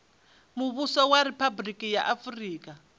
muvhuso wa riphabuliki ya afurika